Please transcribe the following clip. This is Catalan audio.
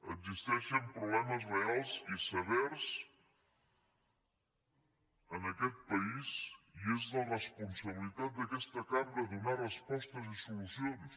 existeixen problemes reals i severs en aquest país i és la responsabilitat d’aquesta cambra donar respostes i solucions